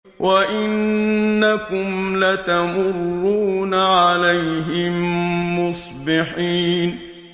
وَإِنَّكُمْ لَتَمُرُّونَ عَلَيْهِم مُّصْبِحِينَ